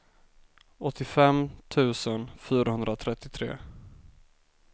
åttiofem tusen fyrahundratrettiotre